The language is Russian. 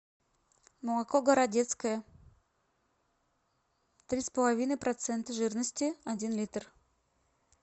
молоко городецкое три с половиной процента жирности один литр